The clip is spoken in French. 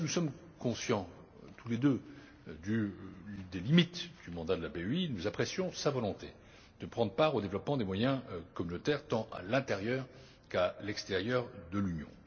Même si nous sommes conscients tous les deux des limites du mandat de la BEI, nous apprécions sa volonté de prendre part au développement des moyens communautaires, tant à l'intérieur qu'à l'extérieur de l'Union.